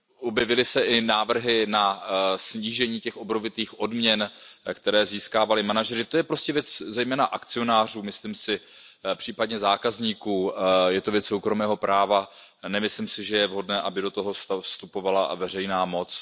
Objevili se i návrhy na snížení těch obrovitých odměn, které získávali manažeři, to je prostě věc zejména akcionářů, myslím si, případně zákazníků, je to věc soukromého práva a nemyslím si, že je vhodné, aby do toho vstupovala veřejná moc.